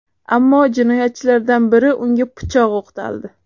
Ammo jinoyatchilardan biri unga pichoq o‘qtaldi.